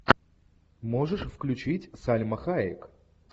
можешь включить сальма хайек